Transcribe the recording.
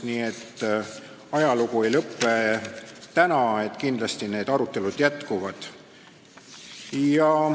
Nii et ajalugu ei lõpe täna, arutelud kindlasti jätkuvad.